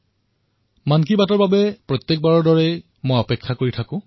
সাধাৰণতে আপোনালোক আৰু মই এই মন কী বাতৰ বাবে অপেক্ষা কৰি থাকো